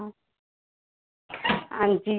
ਹਾਂਜੀ।